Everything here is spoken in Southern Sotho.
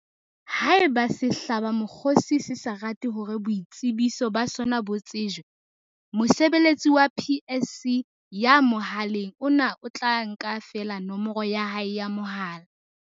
Haeba sehlabamokgosi se sa rate hore boitsebiso ba sona bo tsejwe, mosebeletsi wa PSC ya mohaleng ona o tla nka feela nomoro ya hae ya mohala.